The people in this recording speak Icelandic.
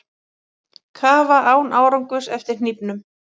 Kafa án árangurs eftir hnífnum